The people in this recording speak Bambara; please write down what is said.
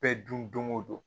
Bɛɛ dun don o don